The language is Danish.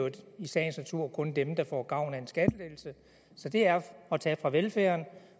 i sagens natur kun dem der får gavn af en skattelettelse så det er at tage fra velfærden